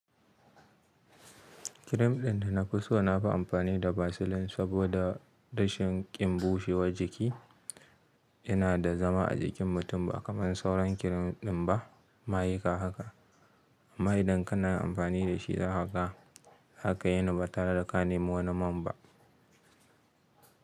Kirim ɗin da na fi so na fi amfani da vaseline saboda rashin ƙinbushewar jiki. Yana da zama a jikin mutum ba kamar sauran kirim ɗin ba. Mayika haka amma idan kana amfani da shi haka, haka yana ba tare da ka nemi wani man ba.